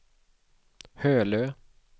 Hölö